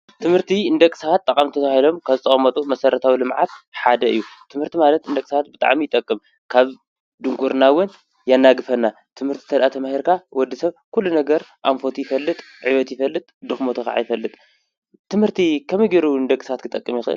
ትምህርቲ ንደቂ ሰባት ጠቐምቲ ተባሂሎም ካብ ዝተቐመጡ መሰረታዊ ልምዓት ሓደ እዩ። ትምህርቲ ማለት ንደቂ ሰባት ብጣዕሚ ይጠቅም። ካብ ድንቁርና እውን የናግፈና ትምህርቲ እንድሕር ተማሂርካ ወዲ ሰብ ኩሉ ነገር ኣንፈቱ ይፈልጥ፣ ዕቤት ይፈልጥ ድኽመቱ ኸዓ ይፈልጥ፣ ትምህርቲ ከመይ ጌሩ ንደቂ ሰባት ክጠቅም ይኽእል ?